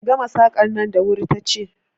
Ki gama Saƙan nan da wuri ta ce!